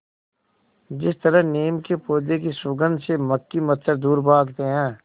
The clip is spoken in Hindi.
जिस तरह नीम के पौधे की सुगंध से मक्खी मच्छर दूर भागते हैं